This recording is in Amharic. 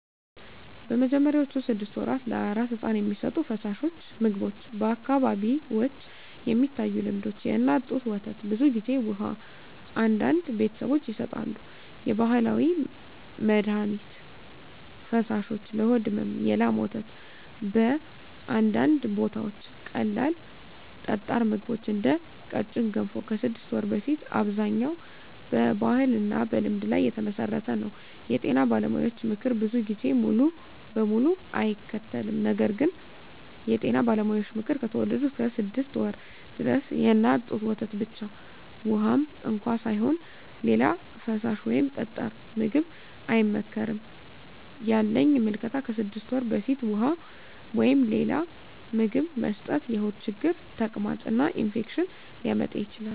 በመጀመሪያዎቹ 6 ወራት ለአራስ ሕፃን የሚሰጡ ፈሳሾች/ምግቦች በአካባቢዎች የሚታዩ ልምዶች፦ የእናት ጡት ወተት (ብዙ ጊዜ) ውሃ (አንዳንድ ቤተሰቦች ይሰጣሉ) የባህላዊ መድሀኒት ፈሳሾች (ለሆድ ሕመም) የላም ወተት (በአንዳንድ ቦታዎች) ቀላል ጠጣር ምግቦች (እንደ ቀጭን ገንፎ) ከ6 ወር በፊት አብዛኛው በባህልና በልምድ ላይ የተመሠረተ ነው የጤና ባለሙያዎች ምክር ብዙ ጊዜ ሙሉ በሙሉ አይከተልም ነገር ግን የጤና ባለሙያዎች ምክር፦ ከተወለዱ እስከ 6 ወር ድረስ የእናት ጡት ወተት ብቻ (ውሃም እንኳ ሳይሆን) ሌላ ፈሳሽ ወይም ጠጣር ምግብ አይመከርም ያለኝ ምልከታ ከ6 ወር በፊት ውሃ ወይም ሌላ ምግብ መስጠት የሆድ ችግር፣ ተቅማጥ እና ኢንፌክሽን ሊያመጣ ይችላል